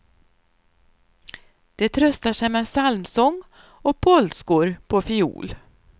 De tröstar sig med psalmsång och polskor på fiol.